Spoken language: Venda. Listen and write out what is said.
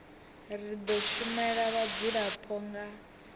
ri do shumela vhadzulapo nga